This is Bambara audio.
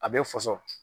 A bɛ faso